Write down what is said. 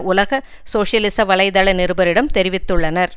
உலக சோசியலிச வலை தள நிருபரிடம் தெரிவித்துள்ளனர்